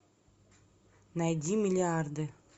найди миллиарды